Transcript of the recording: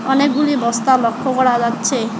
অনেকগুলি বস্তা লক্ষ করা যাচ্ছে।